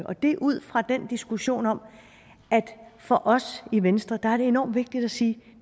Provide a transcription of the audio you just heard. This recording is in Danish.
og det er ud fra den diskussion om at for os i venstre er det enormt vigtigt at sige